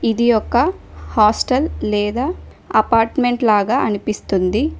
ఇది యొక్క హాస్టల్ లేదా అపార్ట్మెంట్ లాగా అనిపిస్తుంది.